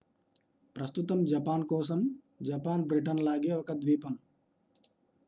ప్రస్తుతం జపాన్ కోసం Japan Britain లాగే ఒక ద్వీపం